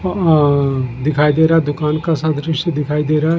हम-अअ दिखाई दे रहा है दुकान का दृश्य दिखाई दे रहा है।